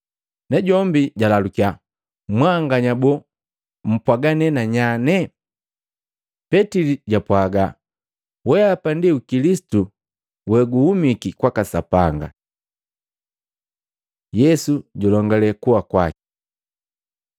Najombi jalalukiya, “Mwanganya boo, mpwaga ne nanyane?” Petili japwaga, “Weapa ndi Kilisitu weguhumiki kwaka Sapanga.” Yesu julongale kuwa kwaki Matei 16:20-28; Maluko 8:30; 9:1